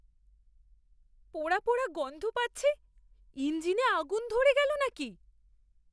পোড়া পোড়া গন্ধ পাচ্ছি। ইঞ্জিনে আগুন ধরে গেল নাকি?